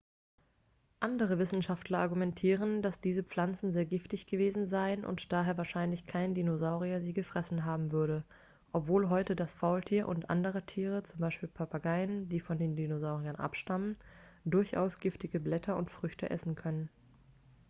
andere wissenschaftler argumentieren dass diese pflanzen sehr giftig gewesen seien und daher wahrscheinlich kein dinosaurier sie gefressen haben würde obwohl heute das faultier und andere tiere z. b. papageien die von den dinosauriern abstammen durchaus giftige blätter und früchte essen können